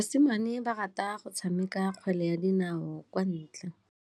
Basimane ba rata go tshameka kgwele ya dinaô kwa ntle.